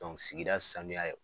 Dɔn sigida sanuya ye o